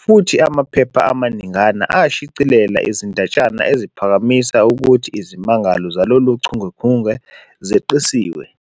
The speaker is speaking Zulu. futhi amaphepha amaningana ashicilela izindatshana eziphakamisa ukuthi izimangalo zalolu chungechunge zeqisiwe.